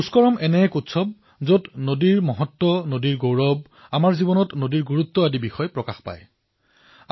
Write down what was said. পুষ্কৰম এনে এক উৎসৱ যত নদীৰ মহত্ব নদীৰ গৌৰৱ জীৱনত নদীৰ গুৰুত্ব এক সহজাত ৰূপত প্ৰতিফলিত হয়